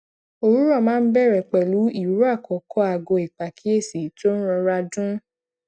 òwúrò máa ń bèrè pèlú ìró àkọkọ aago ìpàkíyèsí tó ń rọra dún